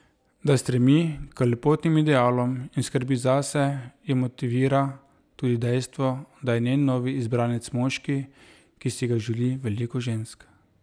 Da stremi k lepotnim idealom in skrbi zase, jo motivira tudi dejstvo, da je njen novi izbranec moški, ki si ga želi veliko žensk.